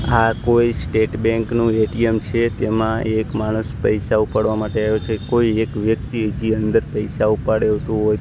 આ કોઈ state bank નું એ_ટી_એમ છે તેમાં એક માણસ પૈસા ઉપાડવા માટે આયો છે કોઈ એક વ્યક્તિ તે અંદર પૈસા --